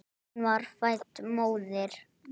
Hún var fædd móðir.